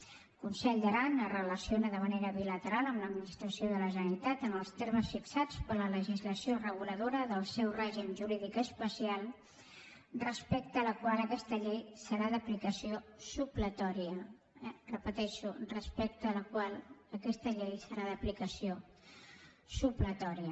el consell d’aran es relaciona de manera bilateral amb l’administració de la generalitat en els termes fixats per la legislació reguladora del seu règim jurídic especial respecte a la qual aquesta llei serà d’aplicació supletòria ho repeteixo respecte a la qual aquesta llei serà d’aplicació supletòria